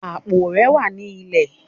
Apó rẹ wà ni ilẹ.